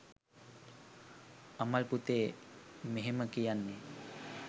අමල් පුතේ මෙහෙම කියන්නේ